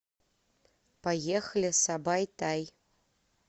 поехали сабай тай